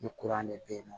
Ni kuran de bɛ yen nɔ